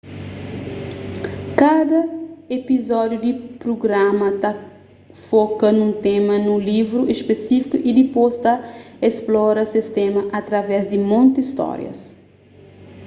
kada epizódiu di prugrama ta foka nun tema nun livru spesífiku y dipôs ta splora es tema através di monti stórias